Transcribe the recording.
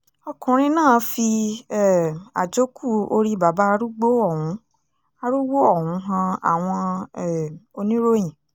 ọkùnrin náà fi um àjókù orí bàbá arúgbó ọ̀hún arúgbó ọ̀hún han àwọn um oníròyìn